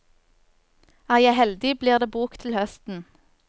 Er jeg heldig, blir det bok til høsten.